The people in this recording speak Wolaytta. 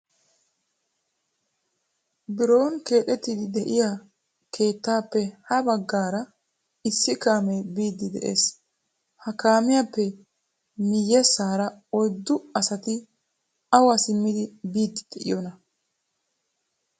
Biron keexxettidi de'iyaa keettappe ha baggaara issi kaamee biidi de'ees. Ha kaamiyappe miyyeessara oyddu asati awa simmidi biidi de'iyoona ?